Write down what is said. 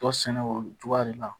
Tɔ sɛnɛ o cogoya de la